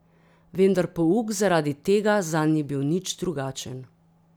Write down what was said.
Vendar pouk zaradi tega zanj ni bil nič drugačen.